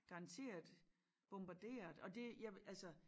Garanteret bombarderet og det jeg vil altså